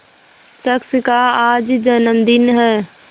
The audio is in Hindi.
शख्स का आज जन्मदिन है